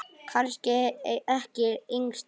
Kannski ekki yngst allra.